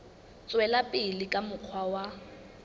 tswela pele ka mokgwa wa